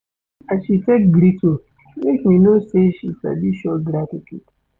As she take greet me make me know sey she sabi show gratitude.